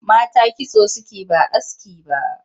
Mata kitso suke ba aski ba